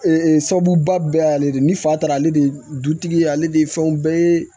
Ee sababuba bɛɛ y'ale de ye ni fa taara ale de dutigi ye ale de ye fɛnw bɛɛ ye